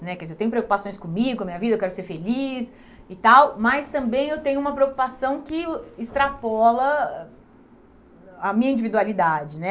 né, quer dizer, Eu tenho preocupações comigo, com a minha vida, eu quero ser feliz e tal, mas também eu tenho uma preocupação que extrapola a a minha individualidade.